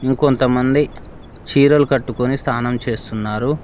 ఇంకొంతమంది చీరలు కట్టుకొని స్థానం చేస్తున్నారు.